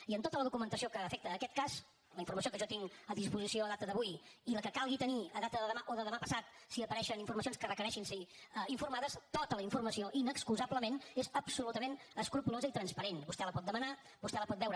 i en tota la documentació que afecta aquest cas la informació que jo tinc a disposició a data d’avui i la que calgui tenir a data de demà o de demà passat si apareixen informacions que requereixin ser informades tota la informació inexcusablement és absolutament escrupolosa i transparent vostè la pot demanar vostè la pot veure